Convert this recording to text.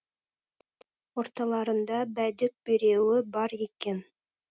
орталарында бәдік біреуі бар екен